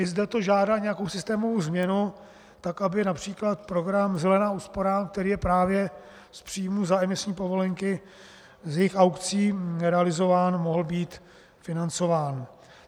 I zde to žádá nějakou systémovou změnu tak, aby například program zelená úsporám, který je právě z příjmů za emisní povolenky, z jejich aukcí, realizován, mohl být financován.